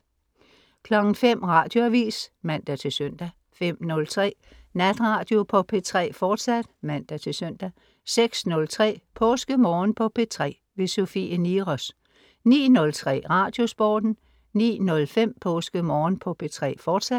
05.00 Radioavis (man-søn) 05.03 Natradio på P3, fortsat (man-søn) 06.03 PåskeMorgen på P3. Sofie Niros 09.03 Radiosporten 09.05 PåskeMorgen på P3 fortsat